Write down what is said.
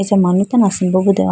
acha manu tando asimbo bi de howa.